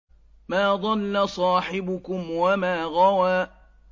مَا ضَلَّ صَاحِبُكُمْ وَمَا غَوَىٰ